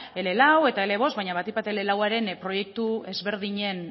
ele lau eta ele bost baina batik bat ele lau aren proiektu ezberdinen